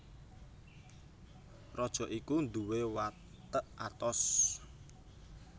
Raja iku nduwé watek atos